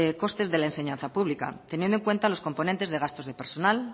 costes de la enseñanza pública teniendo en cuenta los componentes de gastos de personal